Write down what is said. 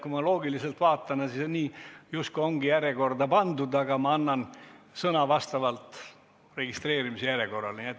Kui ma loogiliselt vaatan, siis nii justkui ongi järjekorda pandud, aga ma annan sõna vastavalt registreerimise järjekorrale.